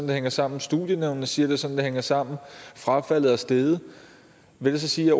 det hænger sammen studienævnene siger er sådan det hænger sammen frafaldet er steget vil det så sige